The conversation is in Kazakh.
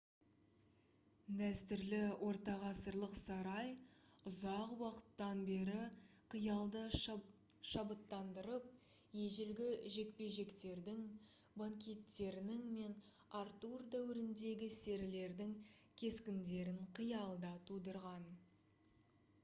дәстүрлі ортағасырлық сарай ұзақ уақыттан бері қиялды шабыттандырып ежелгі жекпе-жектердің банкеттерінің мен артур дәуіріндегі серілердің кескіндерін қиялда тудырған